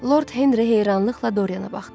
Lord Henri heyranlıqla Doriana baxdı.